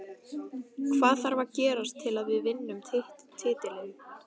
Hvað þarf að gerast til að við vinnum titilinn?